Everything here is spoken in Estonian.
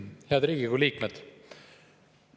Head Riigikogu liikmed!